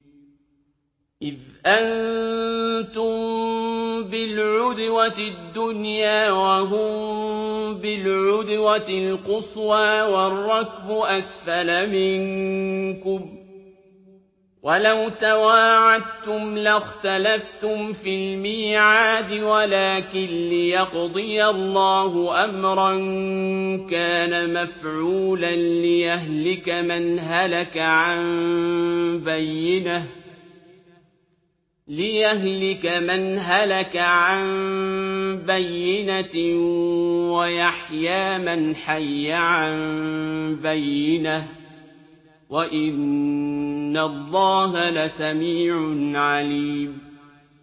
إِذْ أَنتُم بِالْعُدْوَةِ الدُّنْيَا وَهُم بِالْعُدْوَةِ الْقُصْوَىٰ وَالرَّكْبُ أَسْفَلَ مِنكُمْ ۚ وَلَوْ تَوَاعَدتُّمْ لَاخْتَلَفْتُمْ فِي الْمِيعَادِ ۙ وَلَٰكِن لِّيَقْضِيَ اللَّهُ أَمْرًا كَانَ مَفْعُولًا لِّيَهْلِكَ مَنْ هَلَكَ عَن بَيِّنَةٍ وَيَحْيَىٰ مَنْ حَيَّ عَن بَيِّنَةٍ ۗ وَإِنَّ اللَّهَ لَسَمِيعٌ عَلِيمٌ